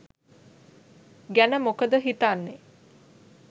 ගැන මොකද හිතන්නෙ?